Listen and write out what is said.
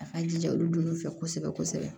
A k'an jija olu don olu fɛ kosɛbɛ kosɛbɛ